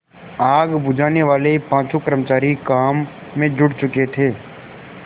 आग बुझानेवाले पाँचों कर्मचारी काम में जुट चुके थे